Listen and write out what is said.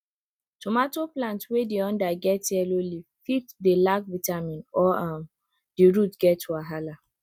tomato plant wey di under get yellow leaf fit dey lack vitamin or um di root get wahala